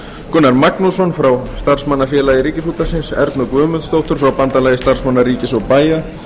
gunnar magnússon frá starfsmannafélagi ríkisútvarpsins ernu guðmundsdóttur frá bandalagi starfsmanna ríkis og bæja